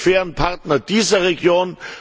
Wir sind die fairen Partner dieser Region.